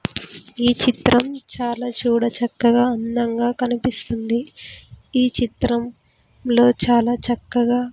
ఈ చిత్రం చాలా చూడ చక్కగా అందంగా కనిపిస్తుంది ఈ చిత్రం లో చాలా చక్కగా.